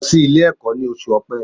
Lọ sílé ẹ̀kọ́ ní oṣù Ọ̀pẹ